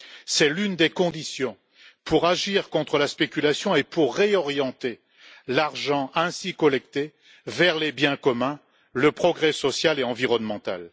C'est l'une des conditions pour agir contre la spéculation et réorienter l'argent ainsi collecté vers les biens communs, le progrès social et environnemental.